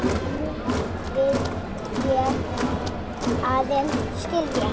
Núna vil ég aðeins skilja.